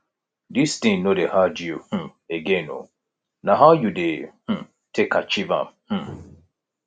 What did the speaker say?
dis thing no dey hard you um again oo na how you dey um take achieve am um